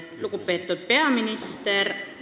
Lugupeetud peaminister!